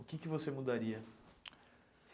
O que que você mudaria?